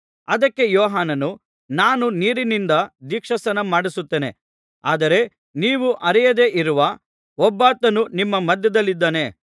ಅದಕ್ಕೆ ಯೋಹಾನನು ನಾನು ನೀರಿನಿಂದ ದೀಕ್ಷಾಸ್ನಾನ ಮಾಡಿಸುತ್ತೇನೆ ಆದರೆ ನೀವು ಅರಿಯದೆ ಇರುವ ಒಬ್ಬಾತನು ನಿಮ್ಮ ಮಧ್ಯದಲ್ಲಿದ್ದಾನೆ